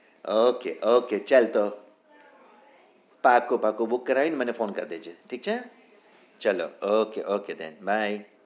ok ok ચાલ તો પાક્કું પાક્કું બુકાય કરાઈને મને phone કર દેજે ઠીક છે ચલો ok ok દેન બાય